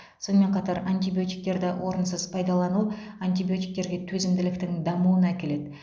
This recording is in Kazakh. сонымен қатар антибиотиктерді орынсыз пайдалану антибиотиктерге төзімділіктің дамуына әкеледі